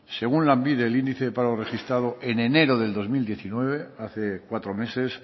según lanbide el índice de paro registrado en enero del dos mil diecinueve hace cuatro meses